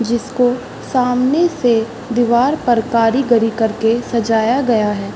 जिसको सामने से दीवार पर कारीगरी के सजाया गया है।